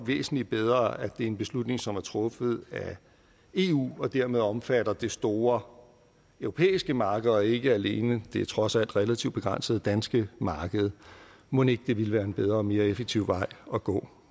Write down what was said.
væsentlig bedre at det er en beslutning som er truffet af eu og dermed omfatter det store europæiske marked og ikke alene det trods alt relativt begrænsede danske marked mon ikke det ville være en bedre og mere effektiv vej at gå